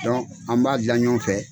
Dɔn an b'a dila ɲɔɔn fɛ